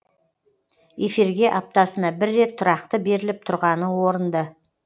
эфирге аптасына бір рет тұрақты беріліп тұрғаны орынды